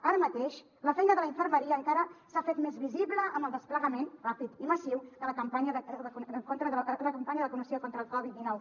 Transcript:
ara mateix la feina de la infermeria encara s’ha fet més visible amb el desplegament ràpid i massiu de la campanya de vacunació contra la covid dinou